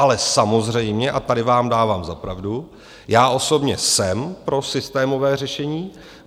Ale samozřejmě, a tady vám dávám za pravdu, já osobně jsem pro systémové řešení.